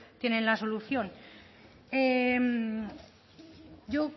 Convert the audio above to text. tiene la solución yo